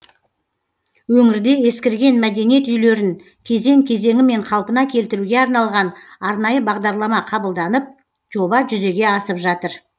өңірде ескірген мәдениет үйлерін кезең кезеңімен қалпына келтіруге арналған арнайы бағдарлама қабылданып жоба жүзеге асып жатыр